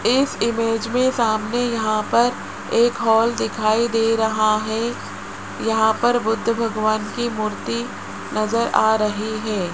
इस इमेज में सामने यहां पर एक हाल दिखाई दे रहा है यहां पर बुद्ध भगवान की मूर्ति नजर आ रही है।